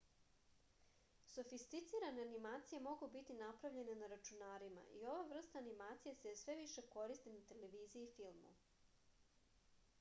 sofisticirane animacije mogu biti napravljene na računarima i ova vrsta animacije se sve više koristi na televiziji i filmu